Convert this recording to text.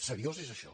seriós és això